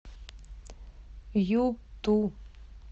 юту